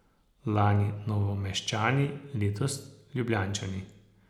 Lani Novomeščani, letos Ljubljančani.